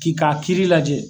K'i k'a kiri lajɛ.